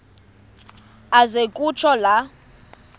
aze kutsho la